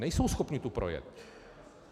Nejsou schopni tu projet.